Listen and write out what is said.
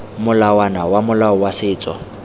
molawana wa molao wa setso